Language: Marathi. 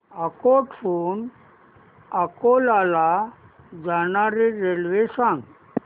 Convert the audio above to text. अकोट हून अकोला ला जाणारी रेल्वे सांग